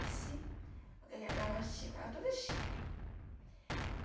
Assim, com aquela gravatinha, ficava toda chique.